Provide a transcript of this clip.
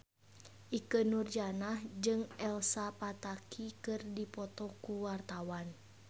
Ikke Nurjanah jeung Elsa Pataky keur dipoto ku wartawan